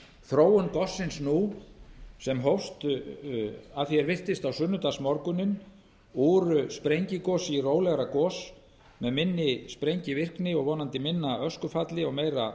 þróun gossins nú sem hófst að því er virtist á sunnudagsmorguninn úr sprengigosi í rólegra gos m eð minni sprengivirkni og vonandi minna öskufalli og meira